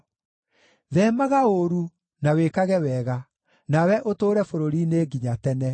Theemaga ũũru, na wĩkage wega, nawe ũtũũre bũrũri-inĩ nginya tene.